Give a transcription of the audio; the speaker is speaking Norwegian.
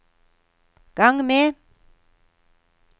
gang med